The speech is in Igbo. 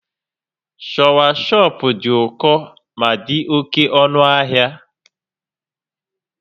Shawashọp dị ụkọ ma dị oke ọnụ ahịa